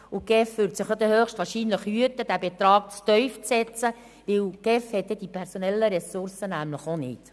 Zudem würde sich die GEF dann höchstwahrscheinlich hüten, diesen Betrag zu tief anzusetzen, denn sie hat die personellen Ressourcen nämlich auch nicht.